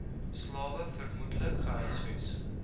slawe vermoedelik gehuisves